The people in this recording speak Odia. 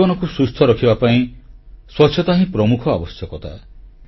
ଜୀବନକୁ ସୁସ୍ଥ ରଖିବା ପାଇଁ ସ୍ୱଛତା ହିଁ ପ୍ରମୁଖ ଆବଶ୍ୟକତା